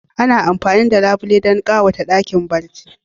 Ana amfani da labule don ƙyawanta ɗakin barci.